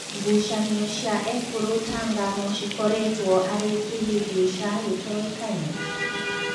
Ngucanio cia Ekũrũ Tanga no cĩkoretwo arĩ kĩhĩngĩca gĩtoĩkaine ?